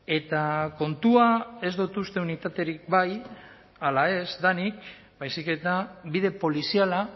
eta kontua ez dut uste unitaterik bai ala ez denik baizik eta bide poliziala